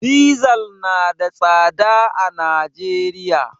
Dizal na da tsada a Najeriya.